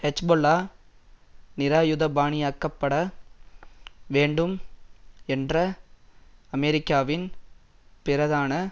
Hezbollah நிராயுதபாணியாக்கப்பட வேண்டும் என்ற அமெரிக்காவின் பிரதான